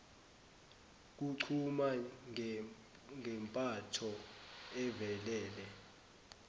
kuchuma ngempatho evelele